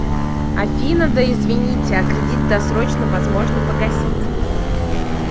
афина да извините а кредит досрочно возможно погасить